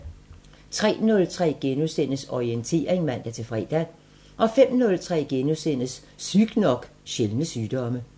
03:03: Orientering *(man-fre) 05:03: Sygt nok: Sjældne sygdomme *